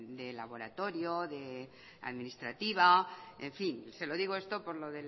de laboratorio administrativa en fin se lo digo esto por que